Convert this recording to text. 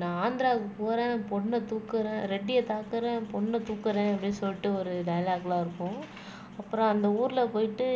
நான் ஆந்திராக்கு போறேன் பொண்ணைத் தூக்குறேன் ரெட்டியைத் தாக்கறேன் பொண்ணைத் தூக்கறேன் அப்படின்னு சொல்லிட்டு ஒரு டைலாக் எல்லாம் இருக்கும் அப்புறம் அந்த ஊர்ல போயிட்டு